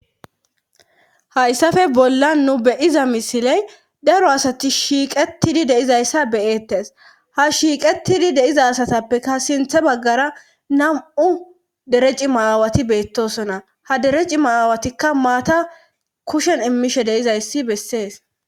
hayssafe bolla nu beyiza misiley daro asati shiiqetidi deizayssa beyettes ha shiiqetidi deiza asatappeka sinthe baggara nam7u dere cimaaawati beettosona ha dere cima aawatikka maata kushen immishe deizayssi bessees